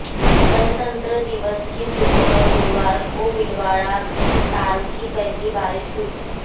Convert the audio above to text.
गणतंत्र दिवस की सुबह गुरुवार को भीलवाड़ा में साल की पहली बारिश हुई